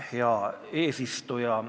Hea eesistuja!